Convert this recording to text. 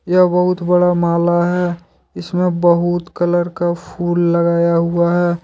यह बहुत बड़ा माला हैं इसमें बहुत कलर का फूल लगाया हुआ हैं।